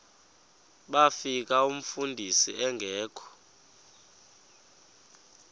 bafika umfundisi engekho